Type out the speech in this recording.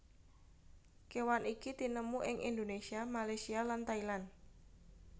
Kéwan iki tinemu ing Indonésia Malaysia lan Thailand